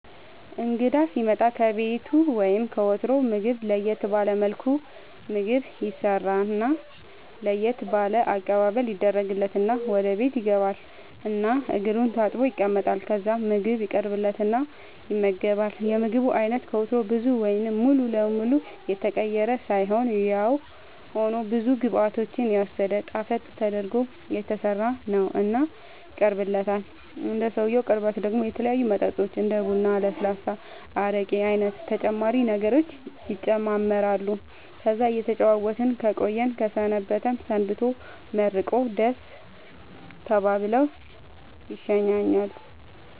እንግዳ ሢመጣ ከቤቱ ወይም ከወትሮው ምግብ ለየት ባለ መልኩ ምግብ ይሰራና ለየት ባለ አቀባበል ይደረግለትና ወደ ቤት ይገባል እና እግሩን ታጥቦ ይቀመጣል ከዛ ምግቡ ይቀርብለትና ይመገባል የምግቡ አይነት ከወትሮው ብዙ ወይም ሙሉ ለመሉ የተቀየረ ሳይሆንያው ሆኖ ብዙ ግብዓቶችን የወሰደ ጣፈጥ ተደርጎ የተሠራ ነው እና ይቀርብለታል እንደ ሰውየው ቅርበት ደሞ የተለያዩ መጠጦች እንደ ቡራ ለስላሳ አረቄ አይነት ተጨማሪ ነገሮችም ይጨማመራሉ ከዛ እየተጨዋወተ ከቆየ ከሰነበተም ሰንብቶ መርቆ ደሥ ተባብለው ይሸኛኛሉ